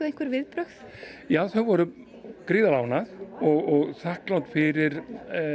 einhver viðbrögð já þau voru gríðarlega ánægð og þakklát fyrir